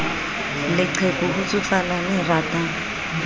leqheku ho tsofala le ratang